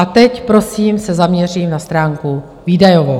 A teď prosím se zaměřím na stránku výdajovou.